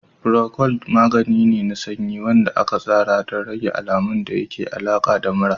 Procold magani ne na sanyi wanda aka tsara don rage alamun da ke da alaƙa da mura.